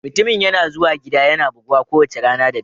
Mutumin yana zuwa gida yana buguwa kowace rana da dare